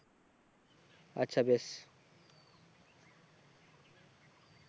আচ্ছা বেশ